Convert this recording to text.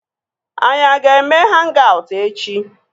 Anyị a ga-eme hang-aut echi?